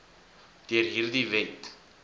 deur hierdie wet